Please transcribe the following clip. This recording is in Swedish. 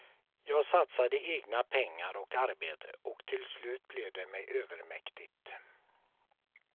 Jag satsade egna pengar och arbete och till slut blev det mig övermäktigt.